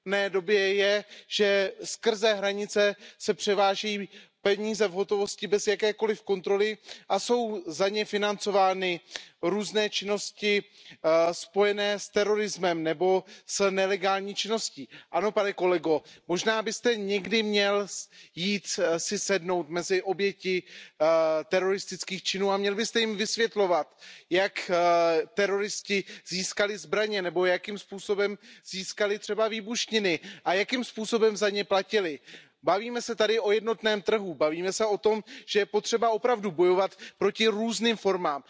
době je, že se přes hranice převáží peníze v hotovosti bez jakékoliv kontroly a jsou za ně financovány různé činnosti spojené s terorismem nebo s nelegální činností. Ano, pane kolego, možná byste si někdy měl jít sednout mezi oběti teroristických činů a měl byste jim vysvětlovat, jak teroristé získali zbraně nebo jakým způsobem získali třeba výbušniny a jakým způsobem za ně platili. Mluvíme tady o jednotném trhu, mluvíme o tom, že je potřeba opravdu bojovat proti různým formám.